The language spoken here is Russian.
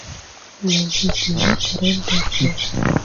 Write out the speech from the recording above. найди кино король бойцов